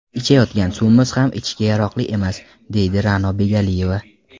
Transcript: Ichayotgan suvimiz ham ichishga yaroqli emas”, deydi Ra’no Begaliyeva.